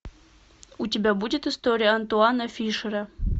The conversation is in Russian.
у тебя будет история антуана фишера